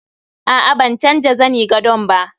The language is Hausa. A'a ban canja zani gadon ba